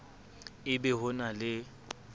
e ba ho na le